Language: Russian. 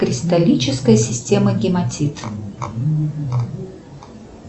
кристаллическая система гематит